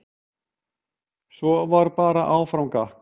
Svo var bara áfram gakk.